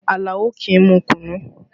Àlàó kì í mu kùnnú